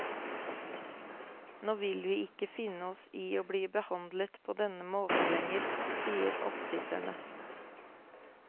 Nå vil vi ikke finne oss i å bli behandlet på denne måten lenger, sier oppsitterne.